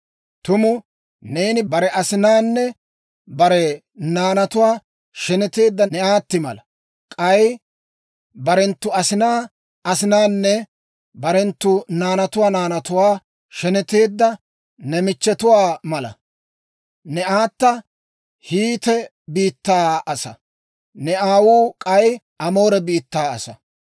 Tumu neeni bare asinaanne bare naanatuwaa sheneteedda ne aatti mala; k'ay barenttu asinaa asinaanne barenttu naanatuwaa naanatuwaa sheneteedda ne michchetuwaa mala. Ne aata Hiite biittaa asaa; ne aawuu k'ay Amoore biittaa asaa.